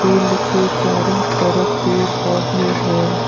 Field के चारों तरफ पेड़ पौधे है।